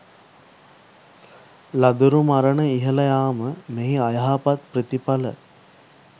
ළදරු මරණ ඉහළ යාම මෙහි අයහපත් ප්‍රතිඵල